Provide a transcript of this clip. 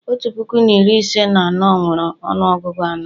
otu puku na iri ise na anọ nwere ọnụọgụ anọ